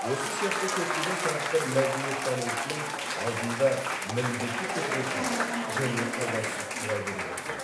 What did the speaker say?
осы сияқты көптеген сұрақтар мәдениеттанушының алдында міндетті түрде туады және толассыз туа береді де